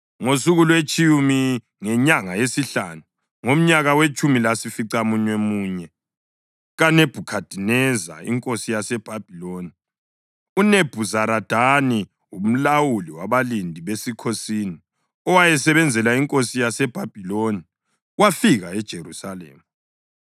Ngosuku lwetshumi ngenyanga yesihlanu, ngomnyaka wetshumi lasificamunwemunye kaNebhukhadineza inkosi yaseBhabhiloni, uNebhuzaradani umlawuli wabalindi besikhosini, owayesebenzela inkosi yaseBhabhiloni, wafika eJerusalema.